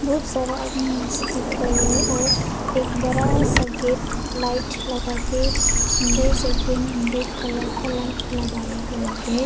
बहुत सारा आदमी मस्ती कर रहे और एक बड़ा सा गेट लाइट लगा के सुंदर सा ग्रीन एंड रेड कलर का लाइट लगाया हुआ है।